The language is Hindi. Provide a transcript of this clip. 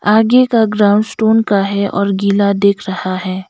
आगे का ग्राउंड स्टोन का है और गिला दिख रहा है।